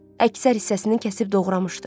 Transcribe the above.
Əksər hissəsini kəsib doğramışdı.